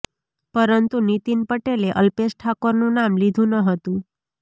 પરંતુ નીતિન પટેલે અલ્પેશ ઠાકોરનું નામ લીધુ ન હતું